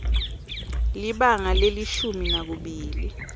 libanga lelishumi nakubili